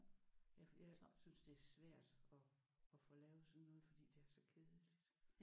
Ja for jeg synes det er svært at at få lavet sådan noget fordi det er så kedeligt